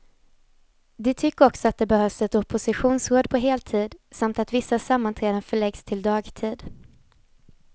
De tycker också att det behövs ett oppositionsråd på heltid, samt att vissa sammanträden förläggs till dagtid.